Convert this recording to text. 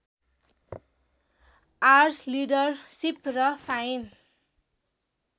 arts leadership र fine